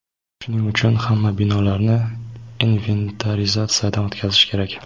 Shuning uchun hamma binolarni inventarizatsiyadan o‘tkazish kerak.